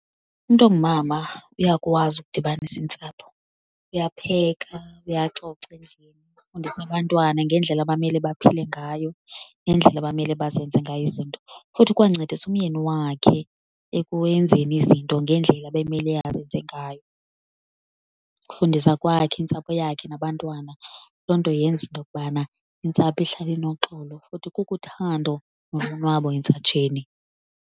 Umntu ongumama uyakwazi ukudibanisa intsapho. Uyapheka, uyacoca endlini, ufundisa abantwana ngendlela abamele baphile ngayo, ngendlela abamele bazenze ngayo izinto. Futhi ukwancedisa umyeni wakhe ekwenzeni izinto ngendlela ebemele azenze ngayo. Ukufundisa kwakhe intsapho yakhe nabantwana loo nto yenza into yokubana intsapho ihlale inoxolo futhi kukhuthando nolonwabo entsatsheni.